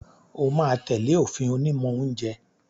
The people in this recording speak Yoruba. O máa tẹ̀lé òfin onímọ̀ oúnjẹ